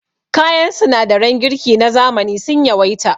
Kayan sinadaran girki na zamani sun yawaita.